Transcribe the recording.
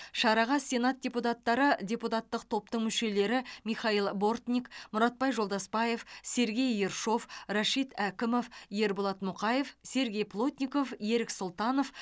шараға сенат депутаттары депутаттық топтың мүшелері михаил бортник мұратбай жолдасбаев сергей ершов рашит әкімов ерболат мұқаев сергей плотников ерік сұлтанов